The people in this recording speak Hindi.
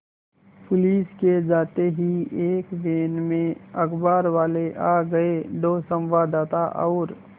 पुलिस के जाते ही एक वैन में अखबारवाले आ गए दो संवाददाता और